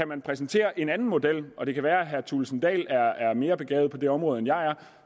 kan præsentere en anden model og det kan være at herre kristian thulesen dahl er er mere begavet på det område end jeg er